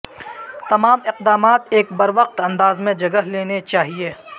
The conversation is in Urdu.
تمام اقدامات ایک بروقت انداز میں جگہ لینے چاہئے